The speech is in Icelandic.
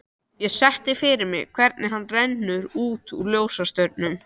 Ég sé fyrir mér hvernig hann rennur út úr ljósastaurnum.